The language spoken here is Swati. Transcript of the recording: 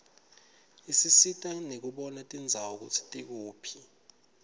isisita nekubona tindzawo kutsi tikuphi